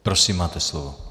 Prosím, máte slovo.